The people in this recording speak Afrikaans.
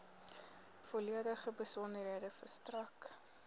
volledige besonderhede verstrek